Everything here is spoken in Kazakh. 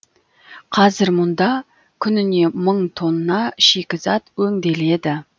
қазір мұнда күніне мың тонна шикізат өңделеді